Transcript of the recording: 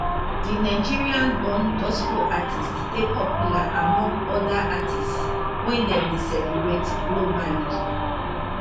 di nigerian born gospel artiste dey popular among oda artistes wey dem dey celebrate globally